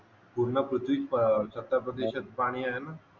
पूर्ण पृथ्वीचा सत्तर प्रतिशत पाणी आहे ना